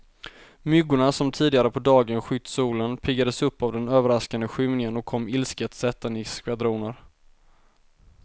Myggorna som tidigare på dagen skytt solen, piggades upp av den överraskande skymningen och kom ilsket sättande i skvadroner.